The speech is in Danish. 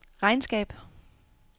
regnskab